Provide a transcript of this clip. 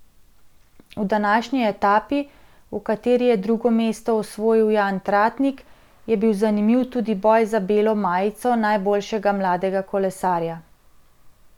V današnji etapi, v kateri je drugo mesto osvojil Jan Tratnik, je bil zanimiv tudi boj za belo majico najboljšega mladega kolesarja.